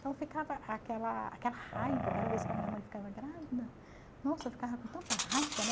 Então ficava aquela aquela raiva, cada vez que a minha mãe ficava grávida, nossa, eu ficava com tanta raiva, né?